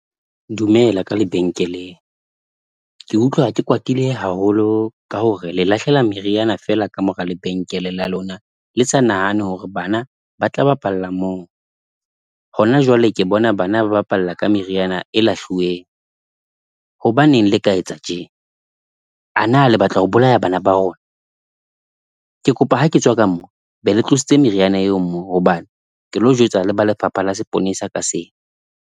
Dumela ka lebenkeleng, ke utlwa ha ke kwatile haholo ka hore le lahlela meriana feela ka mora lebenkele la lona, le sa nahane hore bana ba tla bapalla moo. Hona jwale ke bona bana ba bapala ka meriana e lahluweng. Hobaneng le ka etsa tje? A na le batla ho bolaya bana ba rona? Ke kopa ha ke tswa ka mona be le tlositse meriana eo moo hobane ke lo jwetsa le ba Lefapha la Seponesa ka sena.